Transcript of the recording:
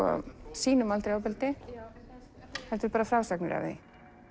sýnum aldrei ofbeldi heldur bara frásagnir af því